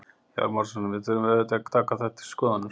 Hjálmar Árnason: Við auðvitað eigum að taka þetta til skoðunar?